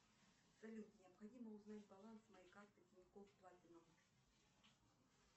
салют необходимо узнать баланс моей карты тинькофф платинум